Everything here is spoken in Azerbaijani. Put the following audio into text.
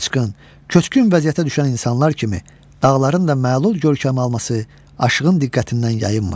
Qaçqın, köçkün vəziyyətə düşən insanlar kimi dağların da məlul görkəmi alması aşığın diqqətindən yayınmır.